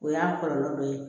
O y'a kɔlɔlɔ dɔ ye